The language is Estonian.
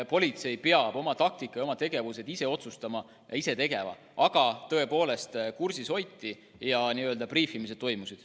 Politsei peab oma taktika ja oma tegevused ise otsustama, aga tõepoolest, kursis hoiti ja n-ö briifimised toimusid.